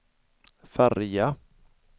färja